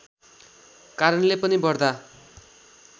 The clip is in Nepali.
कारणले पनि बढ्ता